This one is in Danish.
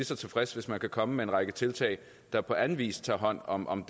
så tilfreds hvis man kan komme med en række tiltag der på anden vis tager hånd om om